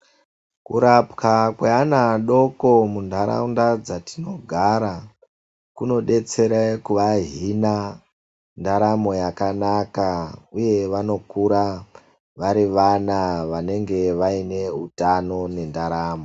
Kurapwa kweana adoko munharaunda dzatinogara kunodetsera kuvahina ndaramo yakanaka uye vanokura vari vana vanenge vaine utano nendaramo.